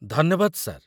ଧନ୍ୟବାଦ, ସାର୍ ।